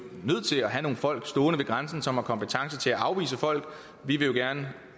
til at have nogle folk stående ved grænsen som har kompetence til at afvise folk vi vil jo gerne have